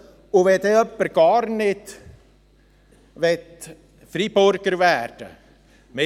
Und wenn denn jemand gar nicht Freiburger werden möchte: